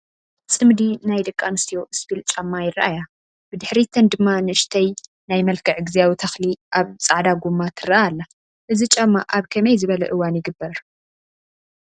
ፅምዲ ናይ ደቂ ኣንስትዮ ስፒል ጫማ ይረኣያ፡፡ ብድሕሪተን ድማ ንእሽተይ ናይ መልክዕ ጊዚያዊ ተኽሊ ኣብ ፃዕዳ ጎማ ትረአ ኣላ፡፡ እዚ ጫማ ኣብ ከመይ ዝበለ እዋን ይግበር?